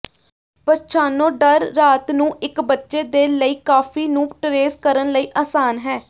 ਪਛਾਣੋ ਡਰ ਰਾਤ ਨੂੰ ਇੱਕ ਬੱਚੇ ਦੇ ਲਈ ਕਾਫ਼ੀ ਨੂੰ ਟਰੇਸ ਕਰਨ ਲਈ ਆਸਾਨ ਹੈ